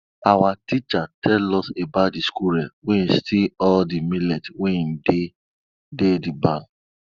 our teacher tell us about de squirrel wey steal all de millet wey dey dey de barn